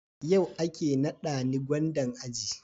yau ake nada ni gwandan aji